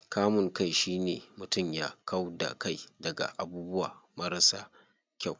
Kamun kai shine mutum ya kau da kai daga abubuwa marasa kyau.